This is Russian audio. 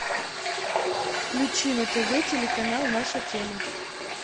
включи на тв телеканал наша тема